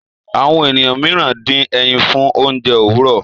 Àwọn ènìyàn mìíràn dín ẹyìn fún oúnjẹ Òwúrọ.